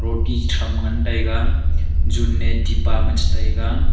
oti tham ngan tai ga jun ne tipa che taiga.